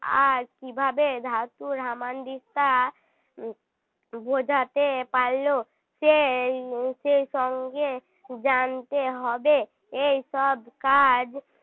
আর কী ভাবে ধাতুর হামানদিস্তা বোঝাতে পারল সেই সেই সঙ্গে জানতে হবে এইসব কাজ